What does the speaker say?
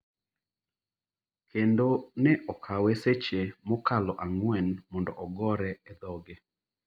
kendo ne okawo seche mokalo ang’wen mondo ogore e dhoge.